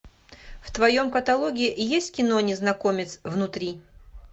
в твоем каталоге есть кино незнакомец внутри